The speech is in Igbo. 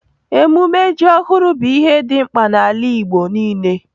Emume ji ohuru bu ihe di mkpa n'ala igbo nile.